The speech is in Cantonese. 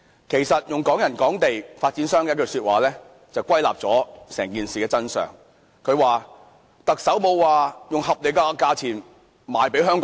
其實，對於"港人港地"，用發展商的一句話便歸納了整件事的真相，發展商說，特首沒有指明以合理價錢賣給香港人。